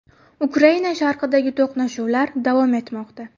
Ukraina sharqidagi to‘qnashuvlar davom etmoqda.